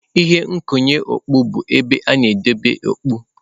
Ihe nkwụnye okpu bụ ebe a na-edebe okpu.